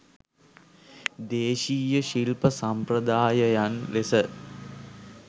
දේශීය ශිල්ප සම්ප්‍රදායයන් ලෙස